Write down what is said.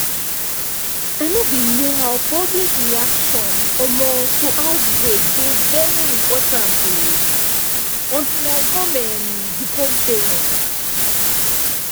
i know bin know how public reaction um to outbreak dey very important um until i come um become parents